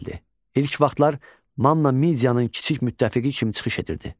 İlk vaxtlar Manna Midyanın kiçik müttəfiqi kimi çıxış edirdi.